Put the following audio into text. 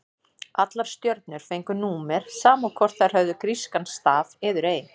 Allar stjörnur fengu númer, sama hvort þær höfðu grískan staf eður ei.